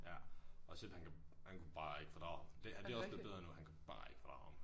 Ja. Og Seb han kan han kunne bare ikke fordrage ham. Det han det er også blevet bedre nu han kunne bare ikke fordrage ham